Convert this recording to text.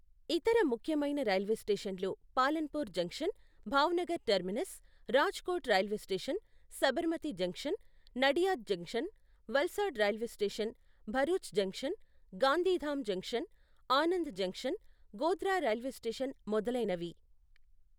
ఇతర ముఖ్యమైన రైల్వే స్టేషన్లు Palanpur junction, Bhavnagar terminus, Rajkot railway station, Sabarmati junction, Nadiad junction, Valsad railway station, Bharuch junction, Gandhidham junction, Anand junction, Godhra railway station మొదలైనవి.